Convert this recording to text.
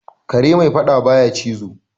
Kare mai fadda ba ya cizo.